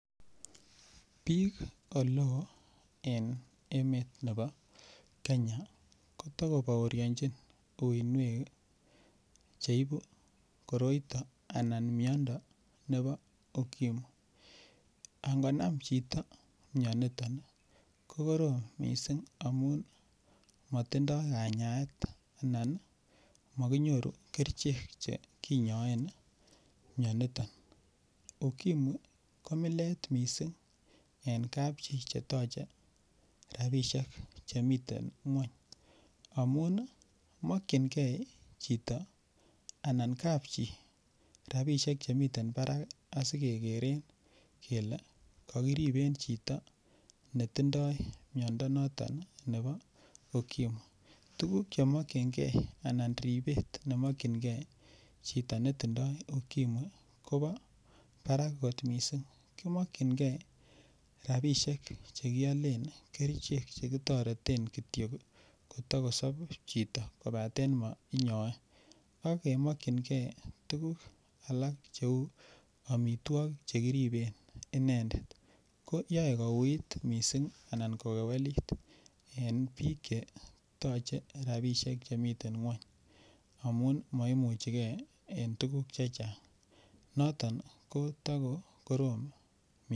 Bik Oleo en emet nebo Kenya kota kibaorinjin uinwek Che ibu koroito anan miando nebo ukimwi angonam chito mianito ko korom mising amun motindo kanyaet anan kerichek Che kinyaen mianito ukimwi ko millet kot mising en kapchi Che toche rabisiek Che miten ngwony amun mokyingei chito anan kapchi rabisiek Che miten barak asikekeren kele ko kokiriben chito ne tindoi miondo noton nebo ukimwi tuguk anan ribet ne mokyingei chito ne tindoi ukimwi kobo barak kot mising ki mokyingei rabisiek Che kialen Che kitoreten Kityo kotokosob chito kobaten mainyoe ak kemokyinige tuguk alak Cheu amitwogik Che kiriben inendet ko yoe kouit mising anan kokewelit en bik Che toche rabisiek Che miten ngwony amun maimuche ge en tuguk Che Chang noton ko to ko korom mising